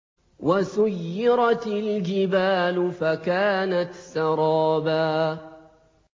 وَسُيِّرَتِ الْجِبَالُ فَكَانَتْ سَرَابًا